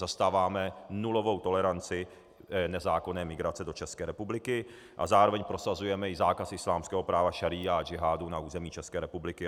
Zastáváme nulovou toleranci nezákonné migrace do České republiky a zároveň prosazujeme i zákaz islámského práva šaría a džihádu na území České republiky.